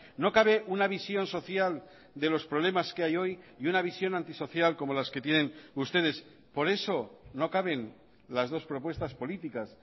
no cabe una visión social de los problemas que hay hoy y una visión antisocial como las que tienen ustedes por eso no caben las dos propuestas políticas